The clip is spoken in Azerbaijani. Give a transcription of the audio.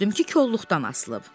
Gördüm ki, kolluqdan asılıb.